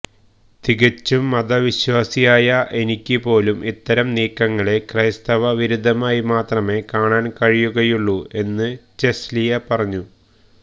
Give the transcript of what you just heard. തികച്ചും മതവിശ്വാസിയായ എനിക്കുപോലും ഇത്തരം നീക്കങ്ങളെ ക്രൈസ്തവ വിരുദ്ധമായി മാത്രമേ കാണാന് കഴിയുകയുള്ളൂ എന്ന് ചെല്സിയ പറഞ്ഞു